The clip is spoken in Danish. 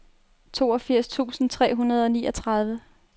toogfirs tusind tre hundrede og niogtredive